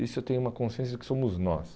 Isso eu tenho uma consciência de que somos nós.